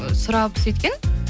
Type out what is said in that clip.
сұрап сөйткен